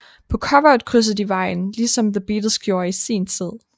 På coveret krydser de vejen lige som The Beatles gjorde i sin tid